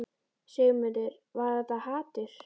Sigmundur: Var þetta hatur?